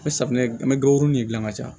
Ni safunɛ an mɛ dɔgɔ nin gilan ka taa